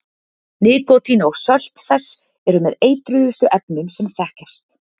Nikótín og sölt þess eru með eitruðustu efnum sem þekkjast.